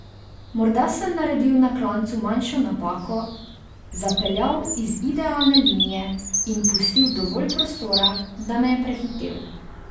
Morda sem naredil na klancu manjšo napako, zapeljal iz idealne linije in pustil dovolj prostora, da me je prehitel.